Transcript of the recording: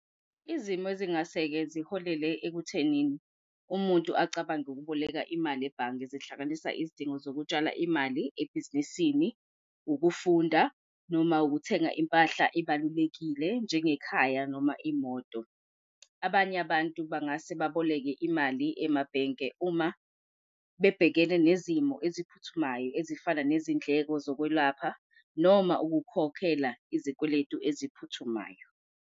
Izimo ezingase-ke ziholele ekutheni umuntu acabange ukuboleka imali ebhange, zihlanganisa izidingo zokutshala imali ebhizinisini, ukufunda noma ukuthenga impahla ebalulekile njengekhaya noma imoto. Abanye abantu bangase baboleke imali emabhenke uma bebhekene nezimo eziphuthumayo ezifana nezindleko zokwelapha, noma ukukhokhela izikweletu eziphuthumayo.